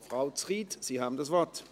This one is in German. Frau Zryd, Sie haben das Wort.